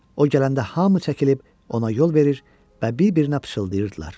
O gələndə hamı çəkilib ona yol verir və bir-birinə pıçıldayırdılar.